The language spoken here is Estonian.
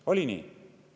Oli nii?